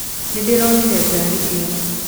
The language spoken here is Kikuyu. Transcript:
Nĩndĩronire ngari ĩyo.